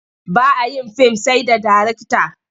Ba a yin fim sai da darekta.